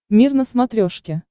мир на смотрешке